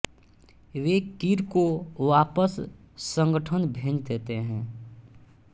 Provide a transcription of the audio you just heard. वे कीर को वापस संगठन भेज देते हैं